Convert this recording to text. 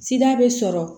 Sida bɛ sɔrɔ